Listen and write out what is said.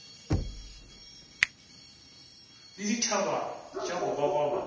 le dithabe tša go gogoba